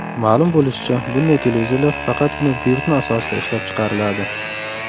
Ma’lum bo‘lishicha, bunday televizorlar faqatgina buyurtma asosida ishlab chiqariladi.